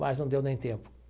Mas não deu nem tempo.